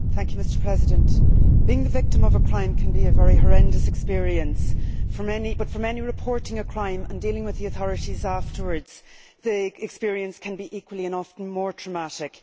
Mr President, being the victim of a crime can be a very horrendous experience, but for many reporting a crime and dealing with the authorities after the experience can be equally, and often more, traumatic.